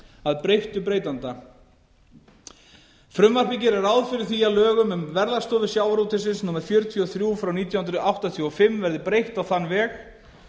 að breyttu breytanda frumvarpið gerir ráð fyrir því að lögum um verðlagsstofu sjávarútvegsins númer fjörutíu og þrjú nítján hundruð áttatíu og fimm verði breytt á þann veg